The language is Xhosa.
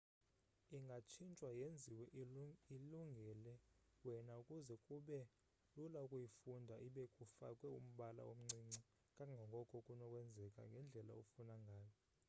ingatshintshwa yenziwe ilungele wena ukuze kube lula ukuyifunda ibe kufakwe umbala omncinci kangangoko kunokwenzeka ngendlela ofuna ngayo